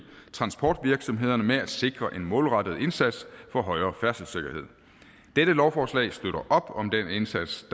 transportvirksomhederne med at sikre en målrettet indsats for højere færdselssikkerhed dette lovforslag støtter op om den indsats